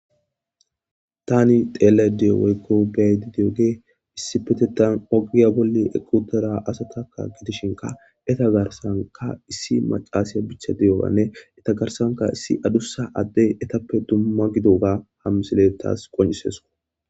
tani tealyoda diyo woykko beyayida diyogey issi petetan ogiya bolle eqqutada asatakka gidishinka eta garsanka issi macaasiya bicha deyoanne eta garsanka issi adussa adde etappe dumma gidoga hammisiletaas qoncises